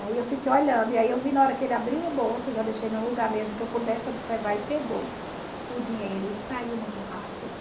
Aí eu fiquei olhando, e aí eu vi na hora que ele abriu a bolsa, eu já deixei num lugar mesmo que eu pudesse observar, e pegou o dinheiro e saiu muito rápido.